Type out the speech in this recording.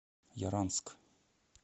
яранск